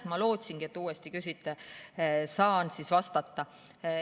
Ma lootsingi, et te uuesti küsite ja ma saan vastata.